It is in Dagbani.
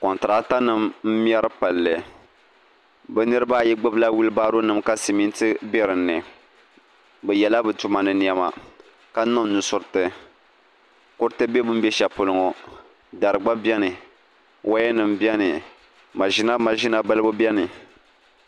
Kontirakitanima m-mɛri palli bɛ niriba ayi ɡbubila wiilibaaronima ka simiti be di ni bɛ yɛla bɛ tuma ni nɛma ka niŋ nusuriti kuriti be bɛ ni be shɛli polo ŋɔ dari ɡba beni wayanima beni maʒina maʒina balibu beni